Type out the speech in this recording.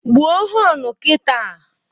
Gbuo họnu kita!